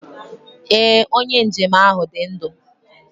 Ee, onye njem ahụ dị ndụ